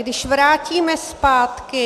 Když vrátíme zpátky...